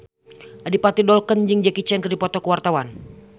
Adipati Dolken jeung Jackie Chan keur dipoto ku wartawan